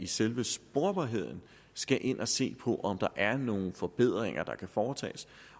selve sporbarheden skal ind at se på om der er nogen forbedringer der kan foretages